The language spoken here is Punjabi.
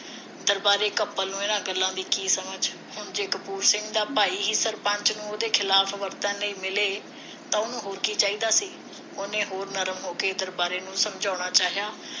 ਦਰਬਾਰੇ ਨੂੰ ਇਨ੍ਹਾਂ ਗੱਲਾਂ ਦੀ ਕੀ ਸਮਝ ਹੁਣ ਜੇ ਕਪੂਰ ਸਿੰਘ ਦਾ ਭਾਈ ਹੀ ਸਰਪੰਚ ਨੂੰ ਉਹਦੇ ਖਿਲਾਫ ਵਰਤਨ ਲਈ ਮਿਲੇ ਤਾਂ ਉਸਨੂੰ ਹੋਰ ਕੀ ਚਾਹੀਦਾ ਸੀ ਉਹਨੇ ਹੋਰ ਨਰਮ ਹੋ ਕੇ ਦਰਬਾਰਾ ਨੂੰ ਸਮਝਾਉਣਾ ਚਾਹਿਆ